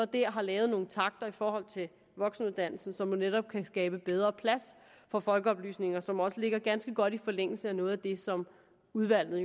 der har lavet nogle takter i forhold til voksenuddannelsen som netop kan skabe bedre plads for folkeoplysningen og som også ligger ganske godt i forlængelse af noget af det som udvalget